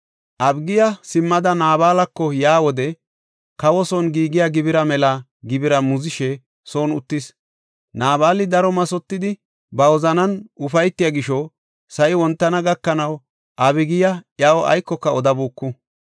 Abigiya simmada Naabalako yaa wode, kawo son giigiya gibira mela gibira muzishe son uttis. Naabali daro mathotidi, ba wozanan ufaytiya gisho sa7i wontana gakanaw Abigiya iyaw aykoka odabuuku.